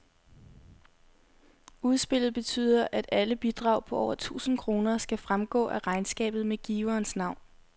Udspillet betyder, at alle bidrag på over tusind kroner skal fremgå af regnskabet med giverens navn.